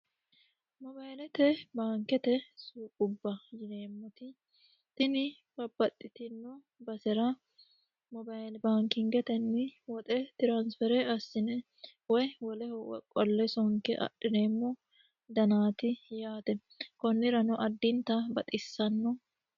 Baankete suuqo, tini babbaxitino basera Moobile baankingeteni woxe transfer assine woyi woleho qolle sonke adhineemmo danati yaate konnirano addintanni baxisano.